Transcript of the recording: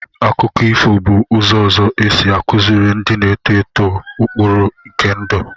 Akụkọ ifo bụ ụzọ ọzọ e si akụziri ndị na-eto eto ụkpụrụ nke ndụ.